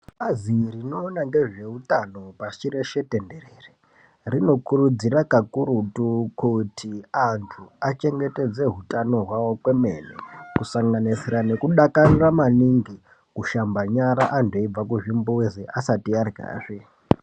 Bazi rinoona ngezveutano pashi reshe tenderere rinokurudzira kakurutu kuti antu achengetedze utano hwavo kwemene kusanganisira nekudakarira maningi kushamba nyara antu eibve kuzvimbuzi asati aryazve.